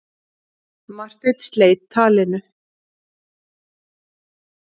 Marteinn sleit talinu.